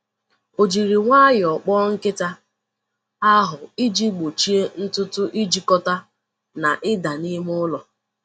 O jiri nwayọọ kpoo nkịta ahụ iji gbochie ntutu ijikọta na ịda n'ime ụlọ.